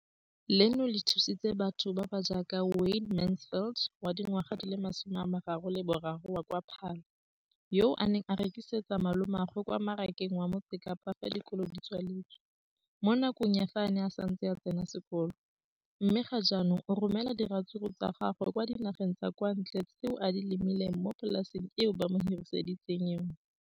leno le thusitse batho ba ba jaaka Wayne Mansfield, 33, wa kwa Paarl, yo a neng a rekisetsa malomagwe kwa Marakeng wa Motsekapa fa dikolo di tswaletse, mo nakong ya fa a ne a santse a tsena sekolo, mme ga jaanong o romela diratsuru tsa gagwe kwa dinageng tsa kwa ntle tseo a di lemileng mo polaseng eo ba mo hiriseditseng yona.